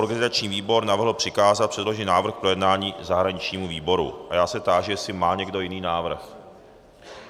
Organizační výbor navrhl přikázat předložený návrh k projednání zahraničnímu výboru a já se táži, jestli má někdo jiný návrh.